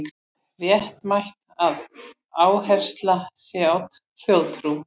Réttmætt að áhersla sé á þjóðtrú